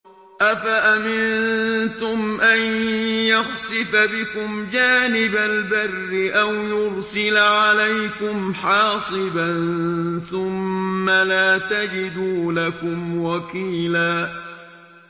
أَفَأَمِنتُمْ أَن يَخْسِفَ بِكُمْ جَانِبَ الْبَرِّ أَوْ يُرْسِلَ عَلَيْكُمْ حَاصِبًا ثُمَّ لَا تَجِدُوا لَكُمْ وَكِيلًا